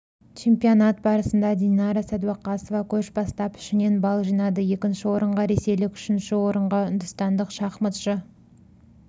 чемпионат барысында динара сәдуақасова көш бастап ішінен балл жинады екінші орынға ресейлік үшінші орынға үндістандық шахматшы